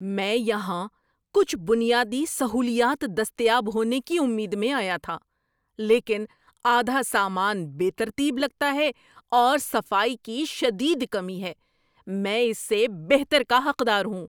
میں یہاں کچھ بنیادی سہولیات دستیاب ہونے کی امید میں آیا تھا، لیکن آدھا سامان بے ترتیب لگتا ہے، اور صفائی کی شدید کمی ہے۔ میں اس سے بہتر کا حقدار ہوں۔